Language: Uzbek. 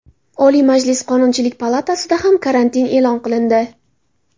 Oliy Majlis Qonunchilik palatasida ham karantin e’lon qilindi.